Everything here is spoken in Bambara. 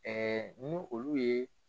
ni olu ye